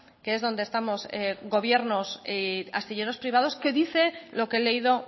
que es donde estamos gobiernos y astilleros privados que dice lo que he leído